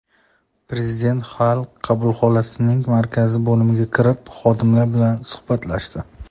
Prezident Xalq qabulxonasining markazdagi bo‘limiga kirib, xodimlar bilan suhbatlashdi.